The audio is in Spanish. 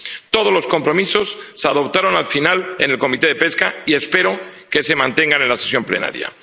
Todos los compromisos se adoptaron al final en la Comisión de Pesca, y espero que se mantengan en la sesión plenaria.